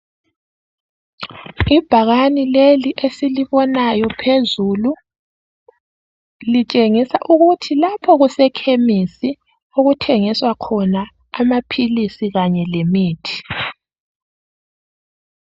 ibhakane leli esilibonayo phezulu litshengisa ukuthi lapha kuse khemisi okuthengiswa khona amaphilisi kanye lemithi